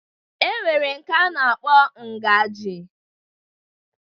E nwere nke a na-akpọ ngaji